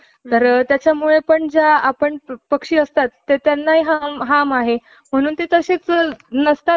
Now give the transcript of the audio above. वाणी, शुद्ध उपचार आणि चांगले वाचन यामुळं बालपणापासूनच धोंडे पंथांना उत्तम ज्ञानसाधना करता येऊ लागली. त्यांना गळाही~ त्यांचा गळाही गोड होता.